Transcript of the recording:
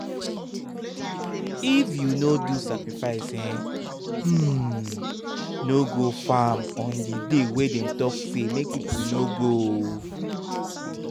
if you no do sacrifice um hmmm no go farm on the day wey dem talk say make people no go o.